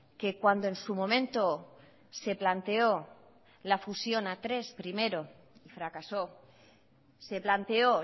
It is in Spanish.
que cuando en su momento se planteó la fusión a tres primero y fracasó se planteó